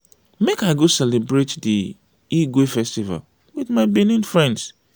make i go celebrate di igue festival wit my benin friends.